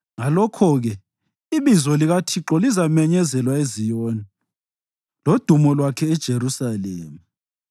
Ngalokho-ke ibizo likaThixo lizamenyezelwa eZiyoni lodumo lwakhe eJerusalema,